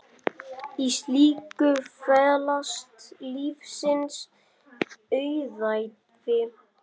Í slíku felast lífsins auðæfi.